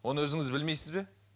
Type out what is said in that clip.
оны өзіңіз білмейсіз бе